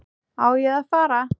Á ég að fara?